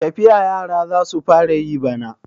Tafiya yara za su fara yi bana.